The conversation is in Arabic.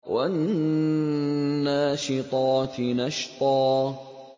وَالنَّاشِطَاتِ نَشْطًا